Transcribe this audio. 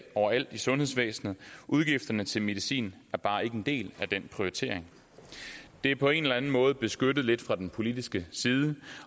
overalt i sundhedsvæsenet udgifterne til medicin er bare ikke en del af den prioritering det er på en eller enden måde beskyttet lidt fra den politiske side